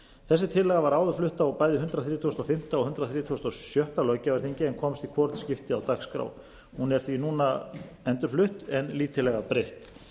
þessi tillaga var áður flutt á bæði hundrað þrítugasta og fimmta og hundrað þrítugasta og sjötta löggjafarþingi en komst í hvorugt skipti á dagskrá hún er því núna endurflutt en lítillega breytt